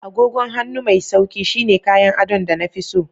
Agogon hannu mai sauƙi shine kayan adon da na fi so.